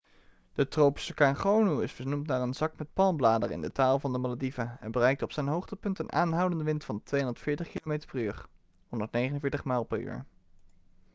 de tropische orkaan gonu is vernoemd naar een zak met palmbladeren in de taal van de malediven en bereikte op zijn hoogtepunt een aanhoudende wind van 240 kilometer per uur 149 mijl per uur